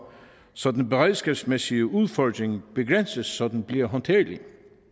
så den beredskabsmæssige udfordring begrænses så den bliver håndterlig